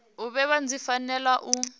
u bebwa dzi fanela u